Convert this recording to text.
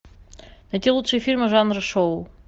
найти лучшие фильмы жанра шоу